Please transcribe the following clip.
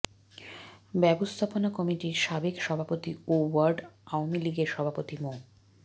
ব্যবস্থাপনা কমিটির সাবেক সভাপতি ও ওয়ার্ড আওয়ামী লীগের সভাপতি মো